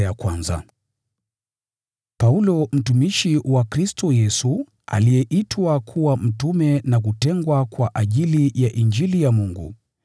Paulo, mtumishi wa Kristo Yesu, aliyeitwa kuwa mtume na kutengwa kwa ajili ya Injili ya Mungu,